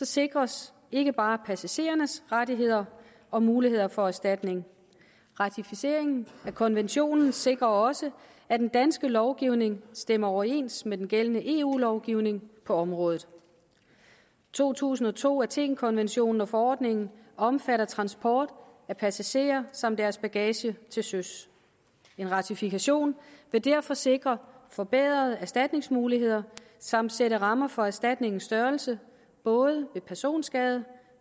sikres ikke bare passagerernes rettigheder og muligheder for erstatning ratificeringen af konventionen sikrer også at den danske lovgivning stemmer overens med den gældende eu lovgivning på området to tusind og to athenkonventionen og forordningen omfatter transport af passagerer samt deres bagage til søs en ratifikation vil derfor sikre forbedrede erstatningsmuligheder samt sætte rammer for erstatningens størrelse både ved personskade